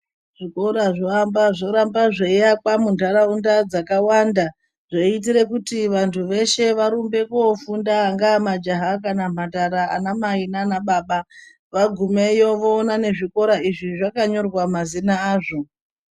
Zvikora zvoramba zveiakwa muntaraunda dzakawanda, zveiitire kuti vantu veshe vaende kofunda angava majaha kana mhandara, anamai naanababa. Vagumeyo voona nezvikora izvi zvakanyorwa mazina azvo.